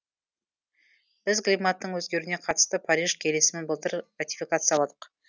біз климаттың өзгеруіне қатысты париж келісімін былтыр ратификацияладық